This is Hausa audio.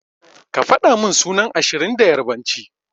Ka fadamin sunan ashirin da yarbanci.